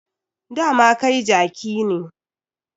Dama kai jaki ne.